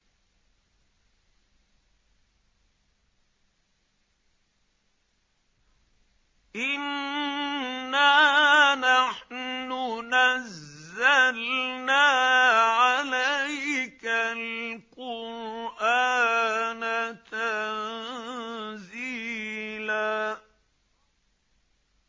إِنَّا نَحْنُ نَزَّلْنَا عَلَيْكَ الْقُرْآنَ تَنزِيلًا